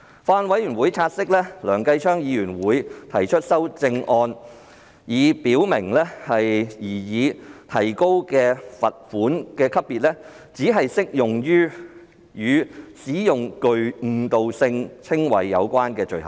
法案委員會察悉，梁繼昌議員會提出修正案，以表明擬提高的罰款級別只適用於與使用具誤導性稱謂有關的罪行。